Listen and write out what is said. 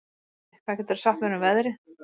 Baddi, hvað geturðu sagt mér um veðrið?